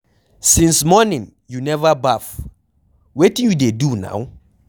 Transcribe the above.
Since morning you never baff, wetin you dey do now?